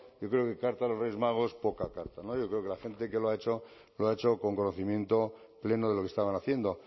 yo creo que carta a los reyes magos poca carta yo creo que la gente que lo ha hecho lo ha hecho con conocimiento pleno de lo que estaban haciendo